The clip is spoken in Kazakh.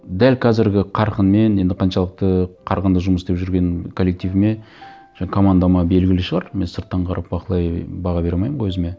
дәл қазіргі қарқынмен енді қаншалықты қарқынды жұмыс істеп жүрген коллективіме командама белгілі шығар мен сырттан қарап баға бере алмаймын ғой өзіме